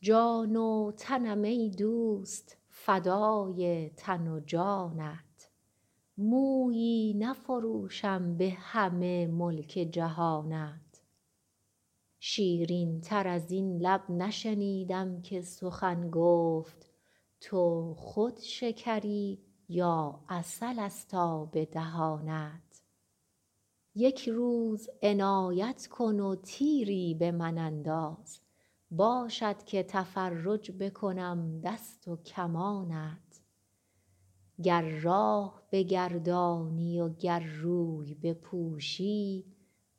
جان و تنم ای دوست فدای تن و جانت مویی نفروشم به همه ملک جهانت شیرین تر از این لب نشنیدم که سخن گفت تو خود شکری یا عسل ست آب دهانت یک روز عنایت کن و تیری به من انداز باشد که تفرج بکنم دست و کمانت گر راه بگردانی و گر روی بپوشی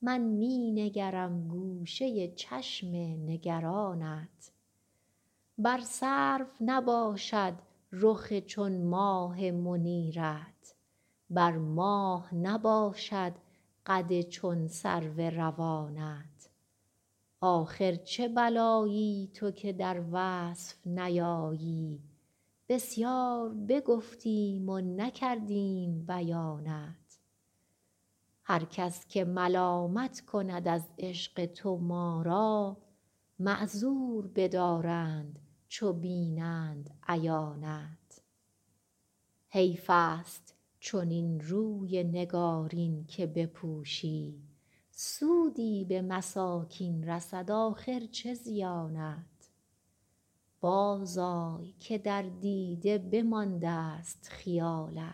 من می نگرم گوشه چشم نگرانت بر سرو نباشد رخ چون ماه منیرت بر ماه نباشد قد چون سرو روانت آخر چه بلایی تو که در وصف نیایی بسیار بگفتیم و نکردیم بیانت هر کس که ملامت کند از عشق تو ما را معذور بدارند چو بینند عیانت حیف ست چنین روی نگارین که بپوشی سودی به مساکین رسد آخر چه زیانت بازآی که در دیده بماندست خیالت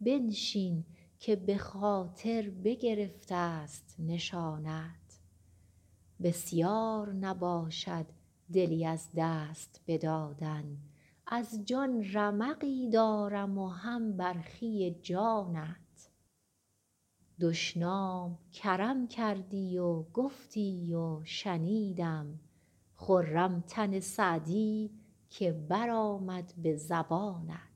بنشین که به خاطر بگرفت ست نشانت بسیار نباشد دلی از دست بدادن از جان رمقی دارم و هم برخی جانت دشنام کرم کردی و گفتی و شنیدم خرم تن سعدی که برآمد به زبانت